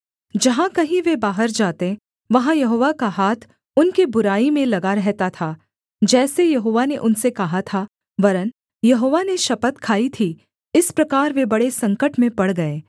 जहाँ कहीं वे बाहर जाते वहाँ यहोवा का हाथ उनकी बुराई में लगा रहता था जैसे यहोवा ने उनसे कहा था वरन् यहोवा ने शपथ खाई थी इस प्रकार वे बड़े संकट में पड़ गए